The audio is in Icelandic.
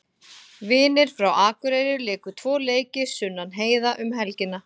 Vinir frá Akureyri léku tvo leiki Sunnan heiða um helgina.